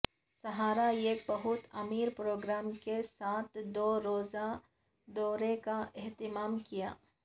صحارا ایک بہت امیر پروگرام کے ساتھ دو روزہ دورے کا اہتمام کیا